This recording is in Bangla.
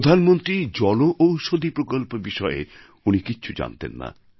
প্রধানমন্ত্রী জনঔষধী প্রকল্প বিষয়ে উনি কিছু জানতেন না